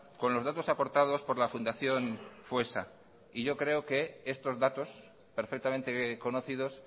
con los datos aportados por la fundación foessa y yo creo que estos datos perfectamente conocidos